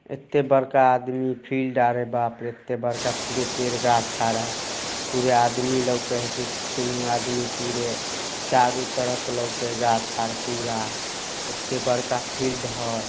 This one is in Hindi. एते बड़का आदमी फिल्ड आरे बाप रे। एते बड़का पुरे पेड़ गाछ आर हई। पूरे आदमी लौके हेती केहू आदमी पुरो चारो तरफ लौके गाछ और पुरा। एते बड़का फिल्ड हई |